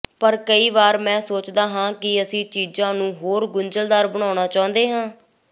ਪਰ ਕਈ ਵਾਰੀ ਮੈਂ ਸੋਚਦਾ ਹਾਂ ਕਿ ਅਸੀਂ ਚੀਜ਼ਾਂ ਨੂੰ ਹੋਰ ਗੁੰਝਲਦਾਰ ਬਣਾਉਣਾ ਚਾਹੁੰਦੇ ਹਾਂ